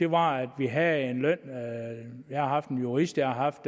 var at vi havde en løn jeg har haft en jurist jeg har haft